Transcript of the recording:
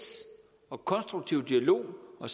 og konstruktiv dialog og